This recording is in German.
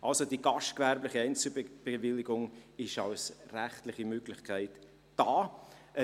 Also: Die gastgewerbliche Einzelbewilligung ist als rechtliche Möglichkeit vorhanden.